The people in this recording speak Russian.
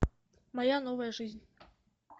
моя новая жизнь